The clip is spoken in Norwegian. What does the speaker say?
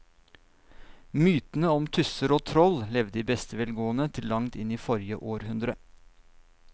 Mytene om tusser og troll levde i beste velgående til langt inn i forrige århundre.